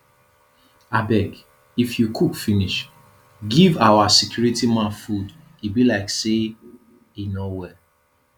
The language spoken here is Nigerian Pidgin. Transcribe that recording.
abeg if you cook finish give our security man food e be like say e no well